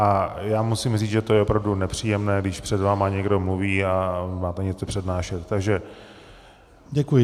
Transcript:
A já musím říct, že je to opravdu nepříjemné, když před vámi někdo mluví a máte něco přednášet. Takže děkuji.